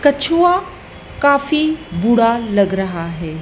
कछुआ काफी बुढ़ा लग रहा है।